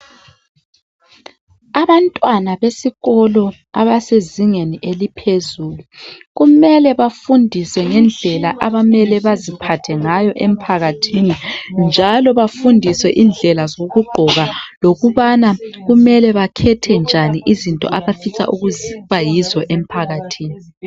Abantwana besikolo abasezingeni eliphezulu kumele bafundiswe ngendlela abamele baziphathe ngayo emphakathini njalo bafundiswe indlela zokugqoka lokubana kumele bakhethe njani izinto abafisa ukuba yizo emphakathini.